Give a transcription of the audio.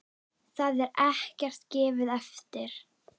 Þar er ekkert gefið eftir.